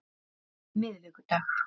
miðvikudag